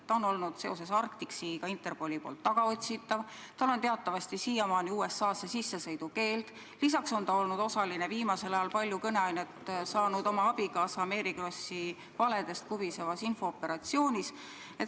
Ta on olnud seoses Arctic Seaga Interpoli poolt tagaotsitav, tal on teatavasti siiamaani USA-sse sissesõidu keeld, lisaks on ta olnud osaline viimasel ajal palju kõneainet andnud oma abikaasa Mary Krossi valedest kubisevas infooperatsioonis.